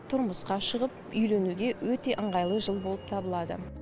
тұрмысқа шығып үйленуге өте ыңғайлы жыл болып табылады